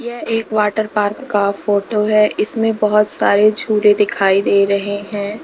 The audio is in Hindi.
यह एक वाटर पार्क का फोटो है इसमें बहुत सारे झूले दिखाई दे रहे हैं।